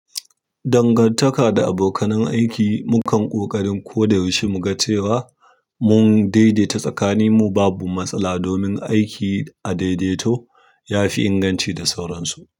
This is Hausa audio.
Dangantaka da abokanan aiki. Mukan ƙoƙarin ko da yaushe mu ga cewa mun daidaita tsakaninmu babu matsala domin aiki a daidaito ya fi inganci da sauransu.